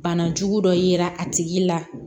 Bana jugu dɔ yera a tigi la